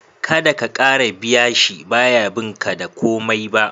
Kada ka kara biya shi, ba ya bin ka da komai ba